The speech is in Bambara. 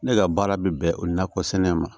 Ne ka baara bɛ bɛn o nakɔsɛnɛ ma